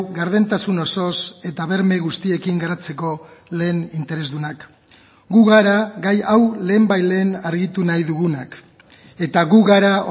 gardentasun osoz eta berme guztiekin garatzeko lehen interesdunak gu gara gai hau lehenbailehen argitu nahi dugunak eta gu gara